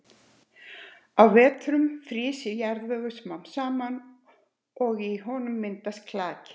Á vetrum frýs jarðvegur smám saman og í honum myndast klaki.